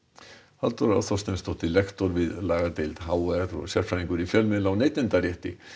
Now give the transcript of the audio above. Halldóra Þorsteinsdóttir lektor við lagadeild h r og sérfræðingur í fjölmiðla og neytendarétti